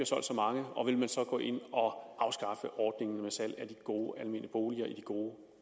solgt så mange og vil man så gå ind og afskaffe ordningen med salg af de gode almene boliger i de gode